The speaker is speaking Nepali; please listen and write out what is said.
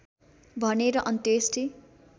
भनेर अन्त्येष्टि